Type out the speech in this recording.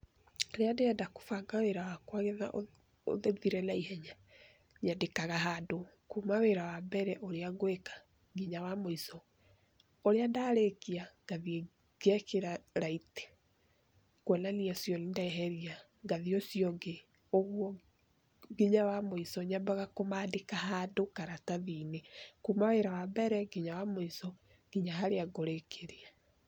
Rĩrĩa ndĩrenda kũbanga wĩra wakwa getha ũthire na ihenya nyandĩkaga handũ. Kuuma wĩra wa mbere ũrĩa ngwĩka nginya wa mũico. Ũrĩa ndarĩkia, ngathiĩ ngekĩra right kuonania ũcio nĩ ndeheria, ngathiĩ ũcio ũngĩ ũguo nginya wa mũico. Nyambaga kũmaandĩka handũ karatathi-inĩ kuuma wĩra wa mbere nginya wa mũico, nginya harĩa ngũrĩkĩria.